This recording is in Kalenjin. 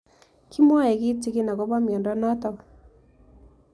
Kimwae kitig'in akopo miondo notok